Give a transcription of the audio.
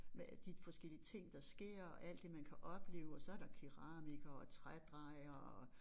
Med de forskellige ting der sker og alt det man kan opleve og så der keramikere og trædrejere og